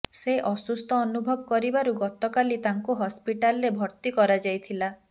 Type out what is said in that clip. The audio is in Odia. ସେ ଅସୁସ୍ଥ ଅନୁଭବ କରିବାରୁ ଗତକାଲି ତାଙ୍କୁ ହସ୍ପିଟାଲରେ ଭର୍ତ୍ତି କରାଯାଇଥିଲା